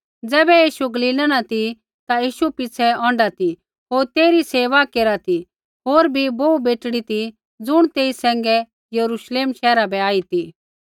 ज़ैबै यीशु गलीला न ती ता यीशु पिछ़ै औंढा ती होर तेइरी सेवा केरा ती होर भी बोहू बेटड़ी ती ज़ुण तेई सैंघै यरूश्लेम शैहरा बै आई ती